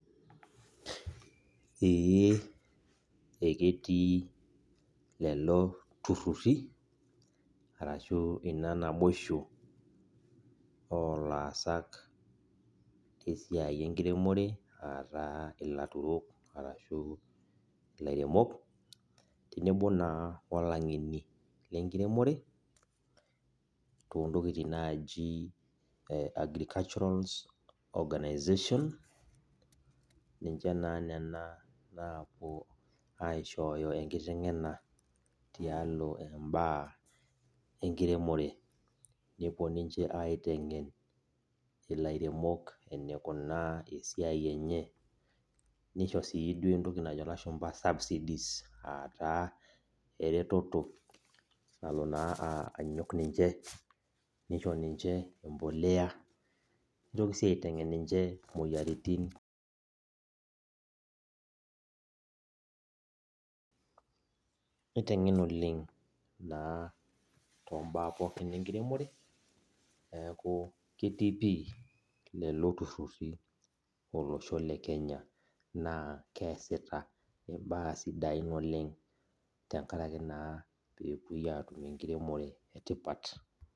Ee eketii lelo turrurri arashu ina naboisho olaasak lesiai enkiremore ataa ilaturok arashu ilairemok, tenebo naa olang'eni lenkiremore, tontokiting naaji eh agricultural organisation, ninche naa nena naapuo aishooyo enkiteng'ena tialo imbaa enkiremore. Nepuo ninche aiteng'en ilairemok enikunaa esiai enye, nisho si duo entoki najo ilashumpa subsidies, ataa, ereteto nalo naa anyok ninche, nisho ninche empolea, nitoki si aiteng'en ninche moyiaritin niteng'en oleng naa tombaa pookin enkiremore, neeku ketii pi lelo turrurri olosho le Kenya. Naa keesita imbaa sidain oleng, tenkaraki naa pepoi atum enkiremore etipat.